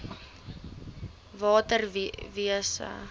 nsri water wise